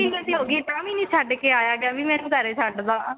ਮਹੀਨੇ ਦੀ ਹੋ ਗਈ ਏ ਤਾ ਵੀ ਨਹੀ ਛੱਡ ਆਇਆ ਗਿਆ ਵੀ ਇਹਨੂੰ ਘਰੇ ਛੱਡ ਦਾ